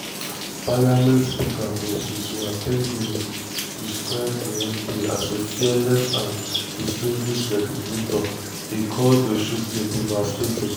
parliament speaker moses wetang'ula describe di mp as a "fearless and distinguished" legislator e call di shooting "devastating".